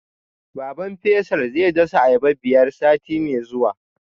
Baban Faisal zai dasa ayaba biyar sati mai zuwa